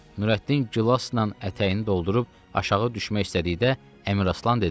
Nürəddin gilasla ətəyini doldurub aşağı düşmək istədikdə Əmiraslan dedi: